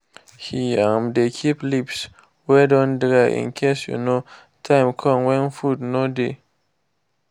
he um dey keep leaves wey don dry incase um time come when food no dey.